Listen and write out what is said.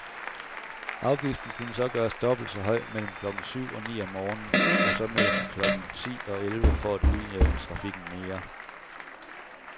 Afgiften kunne så gøres dobbelt så høj mellem klokken syv og ni om morgenen som mellem klokken ti og elleve for at udjævne trafikken mere.